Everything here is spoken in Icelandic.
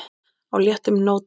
á léttum nótum.